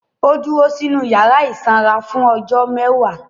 Ó dúró sínu yàrá ìsanra fún ọjọ́ mẹ́wàá